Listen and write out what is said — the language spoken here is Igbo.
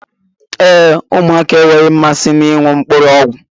Ee, ụmụaka enweghị mmasị na ịṅụ mkpụrụ ọgwụ